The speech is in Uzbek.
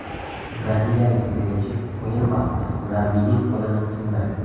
Braziliyalik futbolchi o‘yin vaqtida murabbiyning qo‘lini sindirdi.